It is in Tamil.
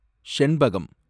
செண்பகம்